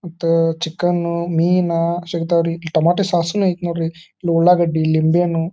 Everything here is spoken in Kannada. ಮತ್ತು ಚಿಕನ್ ಮೀನ್ ಸಿಗ್ತಾವೆ ರೀ. ಟೊಮ್ಯಾಟೋ ಸಾಸ್ ನು ಐತಿ ನೋಡ್ರಿ ಇಲ್ಲಿ ಉಳ್ಳಾಗಡ್ಡಿ ನಿಂಬೆಹಣ್ಣು--